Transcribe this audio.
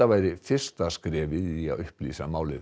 væri fyrsta skrefið í að upplýsa málið